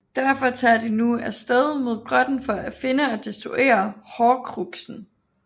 Derfor tager de nu af sted mod grotten for at finde og destruere Horcruxen